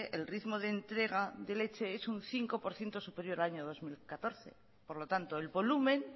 el ritmo de entrega de leche es un cinco por ciento superior al año dos mil catorce por lo tanto el volumen